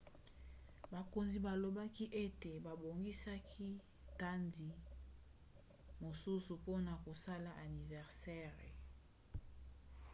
bakonzi balobaki ete babongisaki dati mosusu mpona kosala aniversere